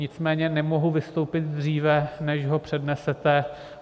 Nicméně nemohu vystoupit dříve, než ho přednesete.